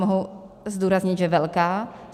Mohu zdůraznit, že velká.